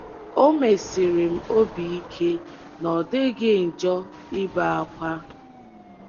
O mesiri m obi ike na ọ dịghị njọ ibe ákwá.